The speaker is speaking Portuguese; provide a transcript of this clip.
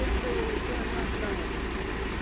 Ele pegou nos dois braços da onça.